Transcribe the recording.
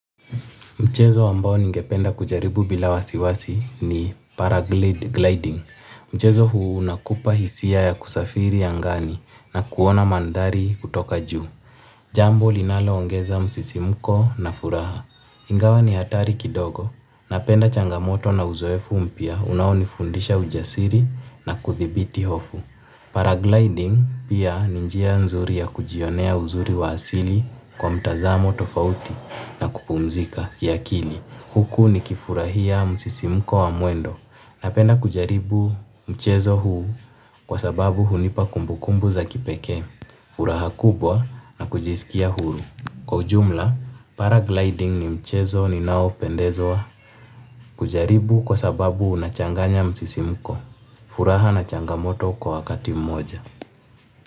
Mchezo ambao ningependa kujaribu bila wasiwasi ni paraglide gliding. Mchezo huu unakupa hisia ya kusafiri angani na kuona mandhari kutoka juu. Jambo linaloongeza msisimuko na furaha. Ingawa ni hatari kidogo napenda changamoto na uzoefu mpya unaonifundisha ujasiri na kuthibiti hofu. Paragliding pia ni njia mzuri ya kujionea uzuri wa asili kwa mtazamo tofauti na kupumzika kiakili huku nikifurahia msisimko wa muendo. Napenda kujaribu mchezo huu kwa sababu hunipa kumbukumbu za kipeke, furaha kubwa na kujisikia huru. Kwa ujumla, paragliding ni mchezo ninaopendezwa kujaribu kwa sababu unachanganya msisimko. Furaha na changamoto kwa wakati mmoja.